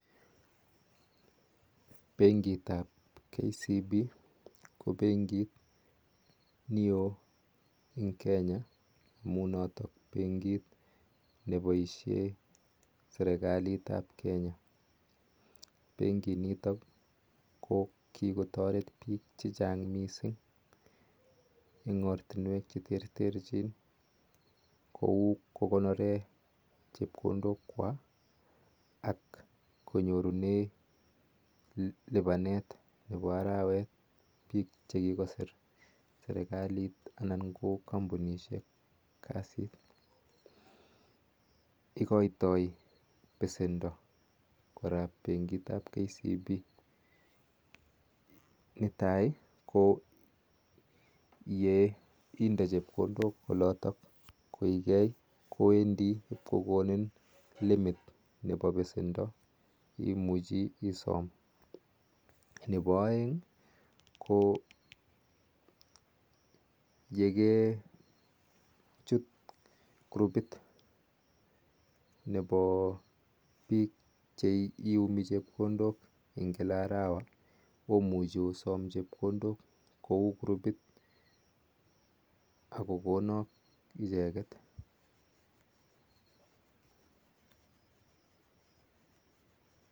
Pengiit ap kcb ko pengiit neoo eng kenyaa amun kokotareet piik chachaang missing kouuu kokondaree rapisheek akolipanii piik rapisheek ikaitaiii rapisheek chotok kikuree loan nepo aeeek koyakechut kirupit nepo piiik akomuchii kokonaak ichegeet